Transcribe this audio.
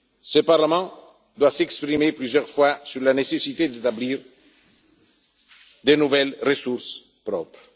Ce Parlement doit s'exprimer plusieurs fois sur la nécessité d'établir de nouvelles ressources propres.